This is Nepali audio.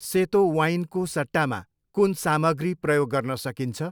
सेतो वाइनको सट्टामा कुन सामग्री प्रयोग गर्न सकिन्छ?